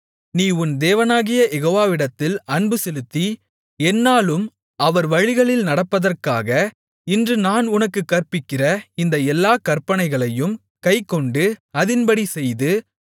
நீ உன் தேவனாகிய யெகோவாவிடத்தில் அன்புசெலுத்தி எந்நாளும் அவர் வழிகளில் நடப்பதற்காக இன்று நான் உனக்குக் கற்பிக்கிற இந்த எல்லாக் கற்பனைகளையும் கைக்கொண்டு அதின்படி செய்து